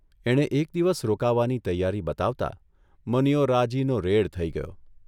એણે એક દિવસ રોકાવાની તૈયારી બતાવતા મનીયો રાજીનો રેડ થઇ ગયો.